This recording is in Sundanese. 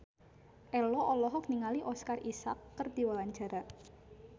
Ello olohok ningali Oscar Isaac keur diwawancara